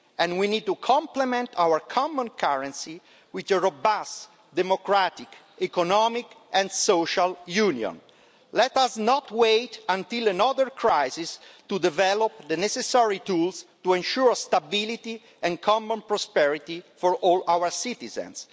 We need to complement our common currency with a robust, democratic economic and social union. Let us not wait until another crisis happens to develop the necessary tools to ensure stability and common prosperity for all our citizens.